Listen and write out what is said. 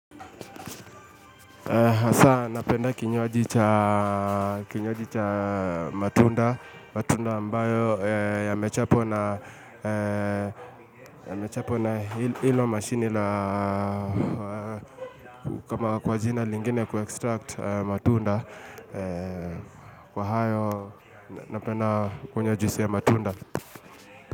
Hasa napenda kinywaji cha matunda, matunda ambayo yamechapwa na ya mechapwa na hilo mashini la kwa jina lingine kuextrakt matunda, kwa hayo ya mechapwa na hilo mashini la kwa jina lingine kuextrakt matunda, kwa hayo.